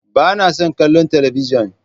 Ba na son kallon talabijin.